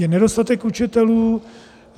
Je nedostatek učitelů.